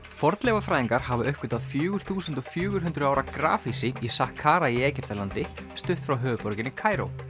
fornleifafræðingar hafa uppgötvað fjögur þúsund fjögur hundruð ára grafhýsi í í Egyptalandi stutt frá höfuðborginni Kaíró